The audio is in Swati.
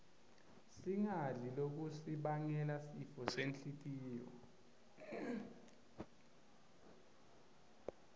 singadli lokutnsi bangela sifosenhltiyo